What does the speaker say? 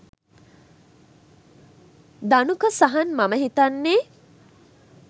ධනුක සහන් මම හිතන්නේ